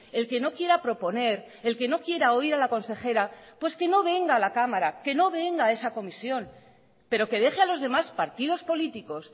el que no quiera proponer el que no quiera oír a la consejera pues que no venga a la cámara que no venga a esa comisión pero que deje a los demás partidos políticos